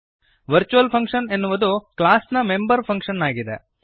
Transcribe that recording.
virtual function ಎನ್ನುವುದು class ನ member function ಆಗಿದೆ